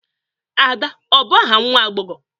Ada ọ bụ aha nwa agbọghọ?